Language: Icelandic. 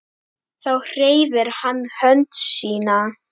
Þá hreyfir hann hönd sína.